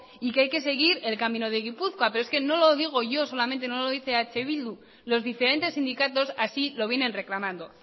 y que hay que seguir el camino de gipuzkoa pero es que no lo digo yo solamente no lo dice eh bildu los diferentes sindicatos así lo vienen reclamando